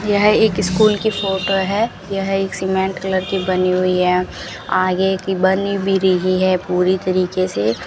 यह एक स्कूल की फोटो है यह एक सीमेंट कलर की बनी हुई है आगे की बनी भी रही है पूरी तरीके से।